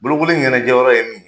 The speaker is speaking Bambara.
Bolokoli ɲɛnajɛyɔrɔ ye min ye.